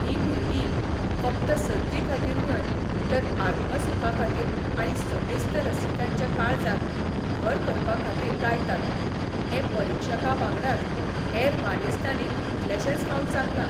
ह्रीं भुरर्गी फकत सर्ती खातीर न्हय तर आत्मसुखा खातीर आनी समेस्त रसिकांच्या काळजांत घर करपा खातीर गायतात हें परिक्षकां बांगडाच हेर मानेस्तांनीय कितलेशेच फावट सांगलां.